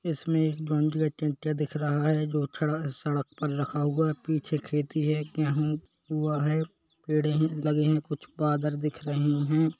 इसमें एक बंध दिख रहा है जो छडा सड़क पर रखा हुआ पीछे खेती है यहाँ कुआ है पेडे है लगे है कुछ बादल दिख रहे है।